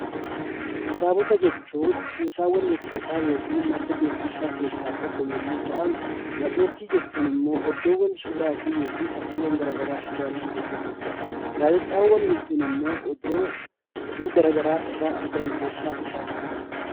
Kitaabota jechuun kuusaawwan jechootaa yookiin madda beekumsaa keessaa tokko yommuu ta'an; Matseetii jechuun immoo iddoowwan suuraa fi fakkiileen gara garaa jiraatan keessaa tokko dha. Gaazexaawwan jechuun immoo iddoo oduu gara garaa irraa argannu keessaa isaan tokko dha.